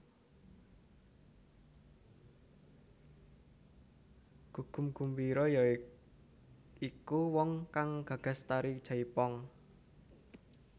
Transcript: Gugum Gumbiro ya iku wong kang gagas tari jaipong